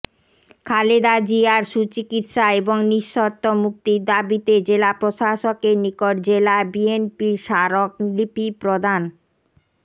খালেদা জিয়ার সুচিকিৎসা এবং নিঃশর্ত মুক্তির দাবিতে জেলা প্রশাসকের নিকট জেলা বিএনপির স্মারক লিপি প্রদান